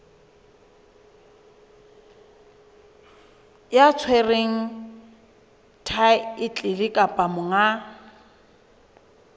ya tshwereng thaetlele kapa monga